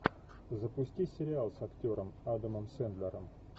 запусти сериал с актером адамом сендлером